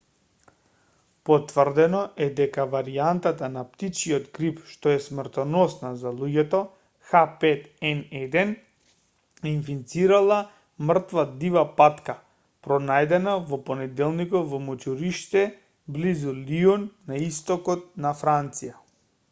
потврдено е дека варијантата на птичјиот грип што е смртоносна за луѓето h5n1 инфицирала мртва дива патка пронајдена во понеделникот во мочуриште близу лион на истокот на франција